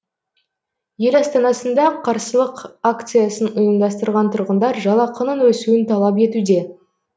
ел астанасында қарсылық акциясын ұйымдастырған тұрғындар жалақының өсуін талап етуде